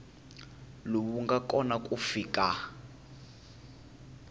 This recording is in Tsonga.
lowu nga kona ku fika